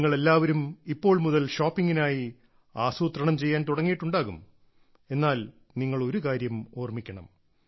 നിങ്ങൾ എല്ലാവരും ഇപ്പോൾ മുതൽ ഷോപ്പിംഗിനായി ആസൂത്രണം ചെയ്യാൻ തുടങ്ങിയിട്ടുണ്ടാകണം എന്നാൽ നിങ്ങൾ ഒരു കാര്യം ഓർമ്മിക്കണം